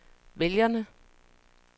vælgerne